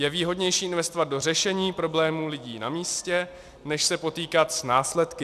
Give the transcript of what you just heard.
Je výhodnější investovat do řešení problémů lidí na místě než se potýkat s následky.